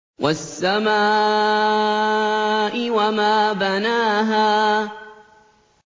وَالسَّمَاءِ وَمَا بَنَاهَا